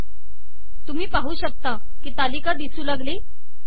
तुम्ही पाहू शकता की तालिका दिसू लागली